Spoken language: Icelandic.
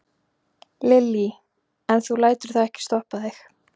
Lillý: En þú lætur það ekki stoppa þig?